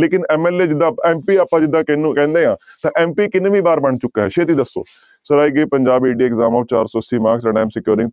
ਲੇਕਿੰਨ MLA ਜਿੱਦਾਂ MP ਆਪਾਂ ਜਿੱਦਾਂ ਕਿਹਨੂੰ ਕਹਿੰਦੇ ਹਾਂ ਤਾਂ MP ਕਿੰਨਵੀ ਵਾਰ ਬਣ ਚੁੱਕਾ ਹੈ ਛੇਤੀ ਦੱਸੋ ਸਰ exam ਚਾਰ ਸੌ ਅੱਸੀ marks